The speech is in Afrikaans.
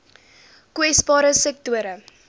kwesbare sektore